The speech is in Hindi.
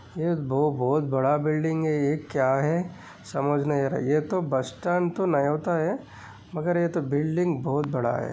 ये तो बहुत बड़ा बिल्डिंग है ये क्या है समज नहीं आ रहा ये तो बस स्टैंड तो नहीं होता है। मगर ये बिल्डिंग बहुत बड़ा है।